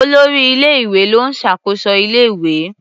Olórí ilé-ìwé ló ń ṣàkóso ilé-ìwé.